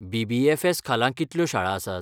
BBFS. खाला कितल्यो शाळा आसात?